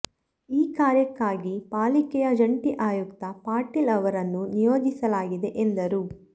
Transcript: ಈ ಕಾರ್ಯಕ್ಕಾಗಿ ಪಾಲಿಕೆಯ ಜಂಟಿ ಆಯುಕ್ತ ಪಾಟೀಲ್ ಅವರನ್ನು ನಿಯೋಜಿಸಲಾಗಿದೆ ಎಂದರು